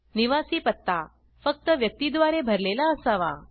निवासी पत्ता फक्त व्यक्ती द्वारे भरलेला असावा